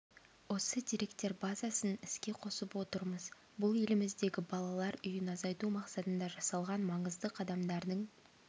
осы деректер базасын іске қосып отырмыз бұл еліміздегі балалар үйін азайту мақсатында жасалған маңызды қадамдардың